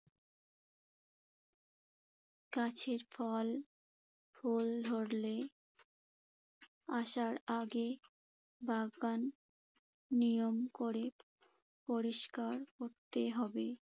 গাছের ফল, ফুল ধরলে আসার আগে বাগান নিয়ম করে পরিষ্কার করতে হবে।